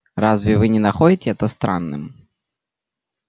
разве вы не находите это странным